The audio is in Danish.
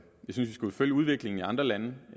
skulle følge udviklingen i andre lande